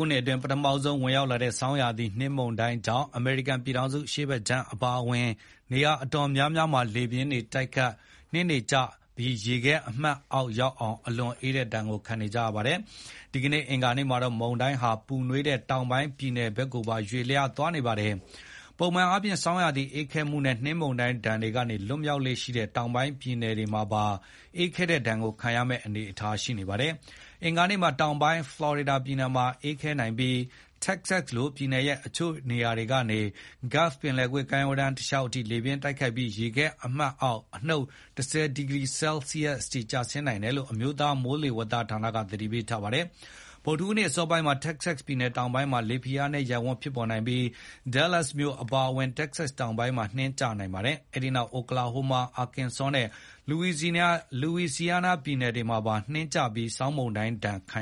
ုနှစ်အတွင်း ပထမဆုံးဝင်ရောက်လာတဲ့ ဆောင်းရာသီနှင်းမုန်တိုင်းကြောင့် အမေရိကန် ပြည်ထောင်စု အရှေ့ ဘက်ခြမ်းအပါအဝင် အနေရာအတော်များများမှာ လေပြင်းတိုက်၊ နှင်းကျပြီး ရေခဲမှတ်အောက်ရောက်အောင် အလွန်အေးတဲ့ဒဏ်ကိုခံနေကြရပါတယ်။ ဒီကနေ့ အင်္ဂါနေ့မှာတော့ မုန်တိုင်းဟာ ပူနွေးတဲ့တောင်ပိုင်းပြည်နယ်တွေဘက်ကိုပါရွှေ့လျားသွားနေပါတယ်။ ပုံမှန်အားဖြင့် ဆောင်းရာသီအေးခဲမှုနဲ့ နှင်းမုန်တိုင်းဒဏ်တွေကနေ လွတ်မြောက်လေ့ရှိတဲ့ တောင်ပိုင်း ပြည်နယ်တွေမှာပါ အေးခဲတဲ့ဒဏ်ကိုခံရမယ့်အနေအထားရှိနေပါတယ်။ အင်္ဂါနေ့မှာ တောင်ပိုင်း ဖလော်ရီဒါပြည်နယ်မှာလည်းအေးခဲနိုင်ပြီး တက္ကဆက်လို ပြည်နယ်ရဲ့ အချို့နေရာတွေကနေ Gulf ပင်လယ်ကွေ့ကမ်းရိုးတမ်းတလျှောက်အထိ လေတိုက်ပြီး ရေခဲမှတ်အောက် အနုတ် ၁၀ ဒီဂရီ ဆဲလ်ဆီးရပ်အထိ ကျဆင်းနိုင်တယ်လို့ အမျိုးသား မိုးလေဝသဌာနကသတိပေး ထားပါတယ်။ ဗုဒ္ဓဟူးနေ့ အစောပိုင်းမှာ တက္ကဆက်ပြည်နယ်တောင်ပိုင်း မှာလေဖိအားနည်းရပ်ဝန်းဖြစ်ပေါ်နိုင်ပြီး Dellas မြို့အပါအဝင် တက္ကဆက်တောင်ပိုင်းမှာ နှင်းကျနိုင်ပါတယ်။ အဲဒိနောက် Okalahoma, Arkansaw နဲ့ Louisiana ပြည်နယ်တွေမှာပါ နှင်းကျပြီး ဆောင်းမုန်တိုင်းဒဏ်ခံ